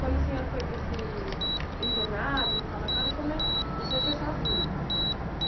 Quando o senhor foi para esse internado, no sanatório, como é, o senhor foi sozinho?